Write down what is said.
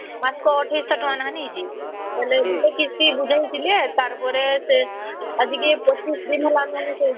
ମାସକୁ ୨୮୦୦ ଟଙ୍କା ନେଖା ନେଇ ଯେ ବୋଇଲେ କିସ୍ତି ବୁଝାଉଥିଲେ ତାର ପରେ ସେ ଆଜିକି ୨୫ ଦିନ ହେଲା